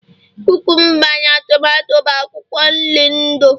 kukumba na tomato bụ akwụkwọ nri ndu